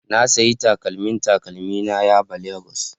Na sayi takalmin takalmina yaba Lagos